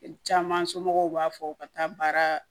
Caman somɔgɔw b'a fɔ u ka taa baara